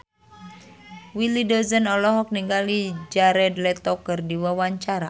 Willy Dozan olohok ningali Jared Leto keur diwawancara